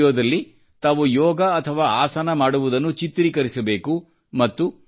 ಈ ವಿಡಿಯೋದಲ್ಲಿ ತಾವು ಯೋಗ ಅಥವಾ ಆಸನ ಮಾಡುವುದನ್ನು ಚಿತ್ರೀಕರಿಸಬೇಕು